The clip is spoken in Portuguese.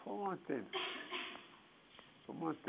Fomos mantendo fomos mantendo